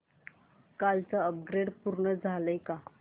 कालचं अपग्रेड पूर्ण झालंय का